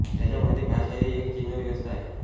त्याच्या मते भाषा ही एक चिन्ह व्यवस्था आहे